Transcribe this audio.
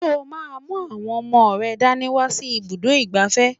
Ṣé o máa mú àwọn ọmọ rẹ dání wá sí ibùdó ìgbafẹ́?